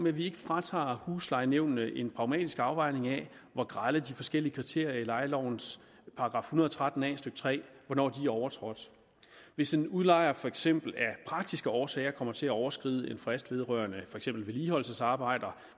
at vi ikke fratager huslejenævnene en pragmatisk afvejning af hvor grelt de forskellige kriterier i lejelovens § en hundrede og tretten a stykke tre er overtrådt hvis en udlejer for eksempel af praktiske årsager kommer til at overskride en frist vedrørende vedligeholdelsesarbejder